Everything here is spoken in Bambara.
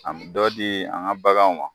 A dɔ di an ka baganw ma.